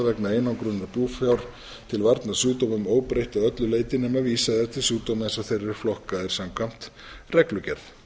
vegna einangrunar búfjár til varnar sjúkdómum óbreytt að öllu leyti nema vísað er til sjúkdóma eins og þeir eru flokkaðir samkvæmt reglugerð